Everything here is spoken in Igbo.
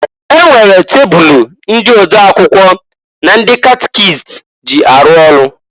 E nwere tebulu ndị ode akwụkwọ na ndị catikist ji arụ ọrụ.